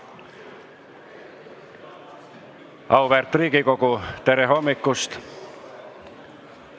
Auväärt Riigikogu, tere hommikust!